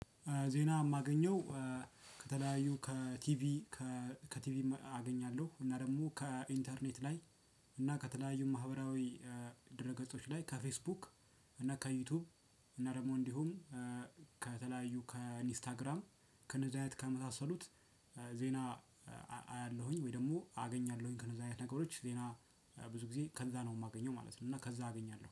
ዜና የማገኘው ከተለያዩ ከቲቪ ከቲቪም አገኛለሁ እና ደግሞ ከኢንተርኔት ላይ እና ከተለያዩ ማህበራዊ ድረ ገጾች ላይ ከፌስቡክ እና ከዩቲዩብ እና ደግሞ እንዲሁም ከተለያዩ ከኢንስታግራም ከነዛ አይነት ከመሳሰሉት ዜና አያለውኝ ወይ ደግሞ አገኛለው ከእንደዛ አይነት ነገሮች ብዙ ጊዜ ከዛ ነው የማገኘው ማለት ነው። እና ከዛ አገኛለሁ